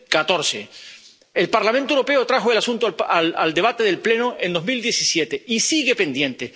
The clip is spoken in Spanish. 2014. El Parlamento Europeo trajo el asunto a debate del Pleno en 2017 y sigue pendiente.